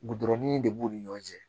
Gudɔrɔn in de b'u ni ɲɔgɔn cɛ